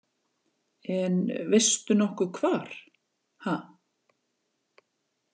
En veistu nokkuð hvar ha